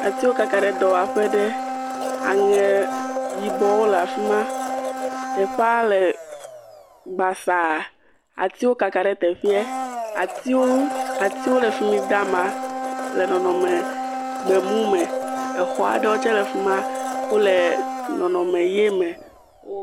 Atiwo kaka ɖe dɔwaƒe ɖe, aŋe yibɔwo le afi maa, teƒea le basaa, atiwo kaka ɖe teƒeɛ, atiwo le fi mi da ama le nɔnɔme gbemu me, exɔ aɖewo tsɛ fi ma, wole nɔnɔme ʋe me wo…